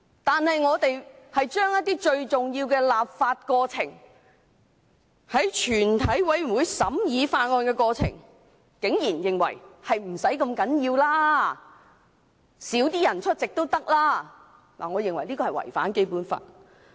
但我們竟然對最重要的立法過程，在全體委員會階段審議法案的過程，認為不是太重要的，出席議員較少也可，我認為這是違反《基本法》的。